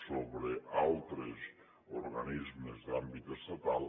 sobre altres organismes d’àmbit estatal